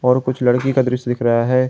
और कुछ लड़की का दृश्य दिख रहा है।